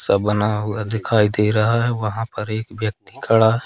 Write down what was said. सब बना हुआ दिखाई दे रहा है वहां पर एक व्यक्ति खड़ा--